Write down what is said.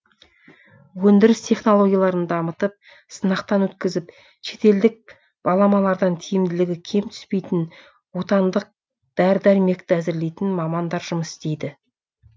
өндіріс технологияларын дамытып сынақтан өткізіп шетелдік баламалардан тиімділігі кем түспейтін отандық дәрі дәрмекті әзірлейтін мамандар жұмыс істейді